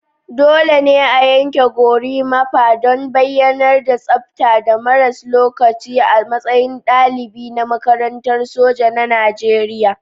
Dole ne a yanke Gorimapa don bayyanar mai tsabta da maras lokaci a matsayin dalibi na makarantar soja na Najeriya